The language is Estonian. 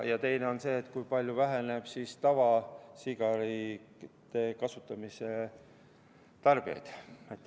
Ja teine on see, kui palju väheneb tavasigareti tarbijate hulk.